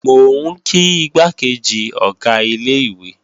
Mò ń kí igbákejì Ọ̀gá ilé-ìwé